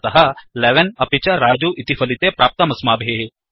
अतः 11 अपि च रजु इति फलिते प्राप्तमस्माभिः